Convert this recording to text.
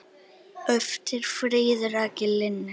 eftir Fríðu Rakel Linnet